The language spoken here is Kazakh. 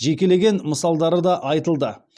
жекелеген мысалдары да айтылды